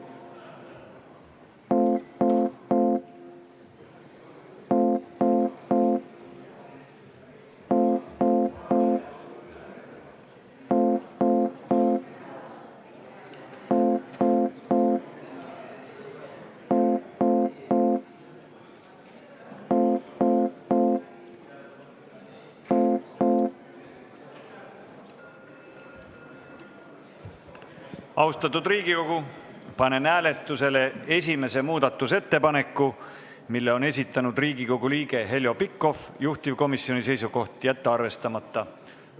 Austatud Riigikogu, panen hääletusele esimese muudatusettepaneku, mille on esitanud Riigikogu liige Heljo Pikhof, juhtivkomisjoni seisukoht: jätta arvestamata.